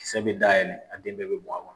Kisɛ be dayɛlen a den bɛɛ bɛ bɔn a kɔnɔ.